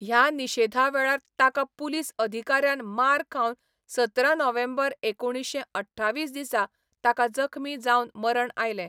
ह्या निशेधा वेळार ताका पुलीस अधिकाऱ्यान मार खावन सतरा नोव्हेंबर एकुणीश्शें अठ्ठावीस दिसा ताका जखमी जावन मरण आयलें.